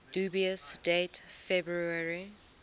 dubious date february